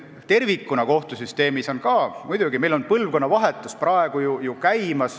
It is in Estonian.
Tervikuna kohtusüsteemis on meil ka praegu käimas põlvkonnavahetus.